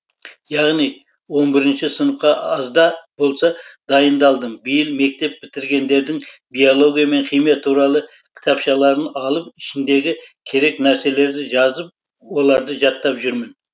яғни он бірінші сыныпқа азда болса дайындалдым биыл мектеп бітіргендердің биология мен химия туралы кітапшаларын алып ішіндегі керек нәрселерді жазып оларды жаттап жүрмін